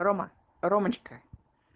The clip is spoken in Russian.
рома ромочка